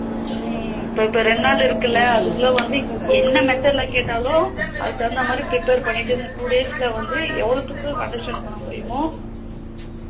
ஹம் இப்ப இப்ப இரண்டு நாள் இருக்குள அதுக்குல வந்து என்ன method ல கேட்டாலும் அதுக்கு தகுந்த மாதிரி prepare பண்ணிட்டு இந்த two days எவ்வளத்துக்கு understand பண்ண முடியுமோ